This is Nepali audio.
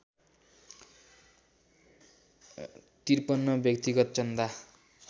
५३ व्यक्तिगत चन्दा